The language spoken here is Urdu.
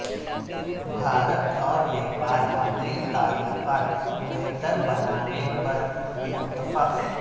بھارت اور نیپال اپنے تعلقات بہتر بنانے پر متفق